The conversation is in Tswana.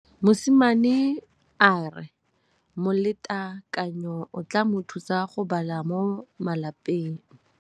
Mosimane a re molatekanyô o tla mo thusa go bala mo molapalong.